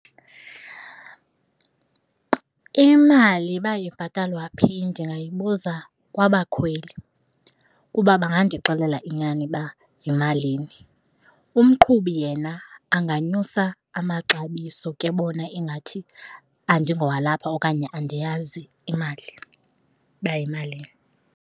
Imali iba ibhatalwa phi ndingayibuza kwabakhweli kuba bangandixelela inyani uba yimalini. Umqhubi yena anganyusa amaxabiso kebona ingathi andingowalapha okanye andiyazi imali uba yimalini.